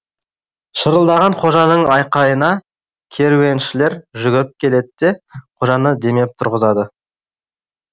шырылдаған қожаның айқайына керуеншілер жүгіріп келеді де қожаны демеп тұрғызады